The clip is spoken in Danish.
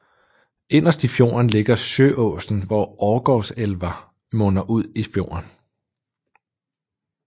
Inderst i fjorden ligger Sjøåsen hvor Årgårdselva munder ud i fjorden